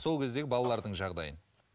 сол кездегі балалардың жағдайын